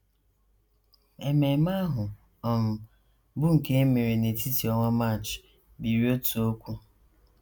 Ememe ahụ, um bụ́ nke e mere n’etiti ọnwa March, biri otu okwu.